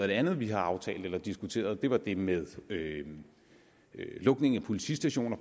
det andet vi har aftalt eller diskuteret det var eksempelvis det med lukning af politistationer